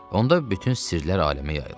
Onda bütün sirlər aləmə yayılır.